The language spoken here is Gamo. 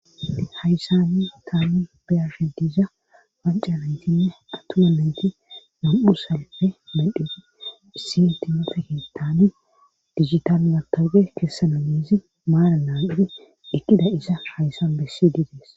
Haysanmi taami biyashe diiza wancanayntinne attuma menti nam7u salppe mendhefi issintimefeki taami digitan matooge keessamanezi maara naam7idi ekkida isa haysan bessi didees.